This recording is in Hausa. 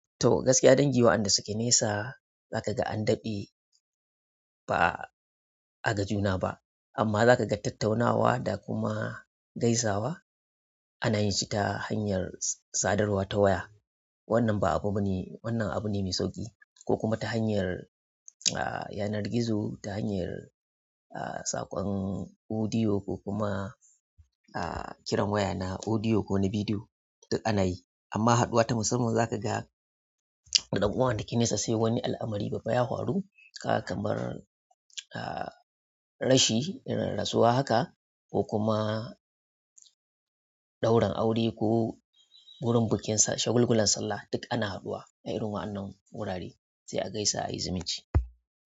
To gaskiya dangi waɗanda suke nesa zaka ga an daɗe ba a gajuna ba amma zaka ga tattaunawa da kuma gaisawa ana yin shi ta hanyar sadarwa ta waya. Wannan abu neh mai sauƙi koh kuma ta hanyar a yanar gizo ta hanyar a saƙon audio ko kuma a kiran waya na audio ko na bidiyo duk ana yi. Amma haɗuwa ta musamman zaka ga da dan uwa wanda ke nesa sai wani al'amari babba ya faru kamar a rashi, rasuwa haka ko kuma ɗaurin aure ko wurin bikin sa shagulgulan sallah duk ana haɗuwa a irin waɗannan wurare sai a gaisa a yi zumunci.